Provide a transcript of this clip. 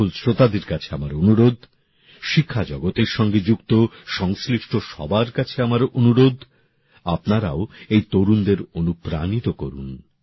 সকল শ্রোতার কাছে আমার অনুরোধ শিক্ষা জগতের সঙ্গে যুক্ত সংশ্লিষ্ট সবার কাছে আমার অনুরোধ আপনারাও এই তরুণ তরুনীদের অনুপ্রাণিত করুন